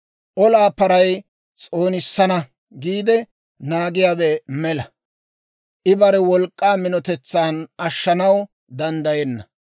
Olaa paray s'oonissana giide naagiyaawe mela; I bare wolk'k'aa minotetsan ashshanaw danddayenna.